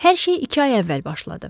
Hər şey iki ay əvvəl başladı.